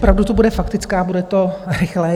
Opravdu to bude faktická, bude to rychlé.